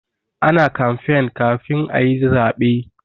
Ana kamfen kafin ayi zabe.